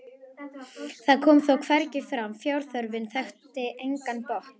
það kom þó hvergi fram: fjárþörfin þekkti engan botn.